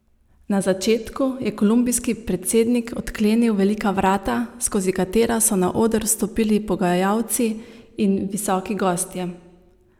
Na začetku je kolumbijski predsednik odklenil velika vrata, skozi katera so na oder vstopili pogajalci in visoki gostje.